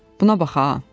Buna bax ha!